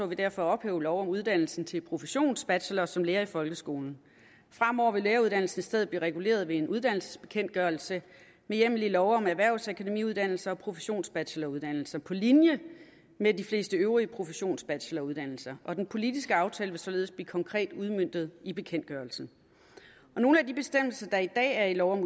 vi derfor at ophæve lov om uddannelsen til professionsbachelor som lærer i folkeskolen fremover vil læreruddannelsen i stedet blive reguleret ved en uddannelsesbekendtgørelse med hjemmel i lov om erhvervsakademiuddannelser og professionsbacheloruddannelser på linje med de fleste øvrige professionsbacheloruddannelser og den politiske aftale vil således blive konkret udmøntet i bekendtgørelsen nogle af de bestemmelser der i dag er i lov om